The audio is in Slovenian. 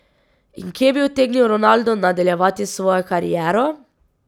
In kje bi utegnil Ronaldo nadaljevati svojo kariero?